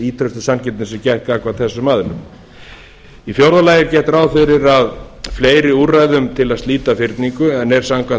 ýtrustu sanngirni sé gætt gagnvart þessum aðilum í fjórða lagi er gert ráð fyrir fleiri úrræðum til þess að slíta fyrningu en er samkvæmt